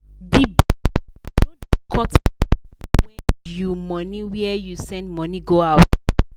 de bankapp no da cut money when you money when you send money go outside